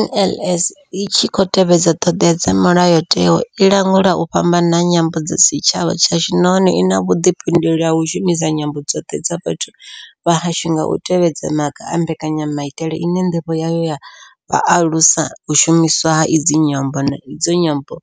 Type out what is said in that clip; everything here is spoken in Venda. NLS I tshi khou tevhedza ṱhodea dza Mulayotewa, i langula u fhambana ha nyambo kha tshitshavha tshashu nahone I na vhuḓifhinduleli ha u shumisa nyambo dzoṱhe dza vhathu vha hashu nga u tevhedza maga a mbekanyamaitele ine ndivho yayo ya vha u alusa u shumiswa ha idzi nyambo, na idzo nyambo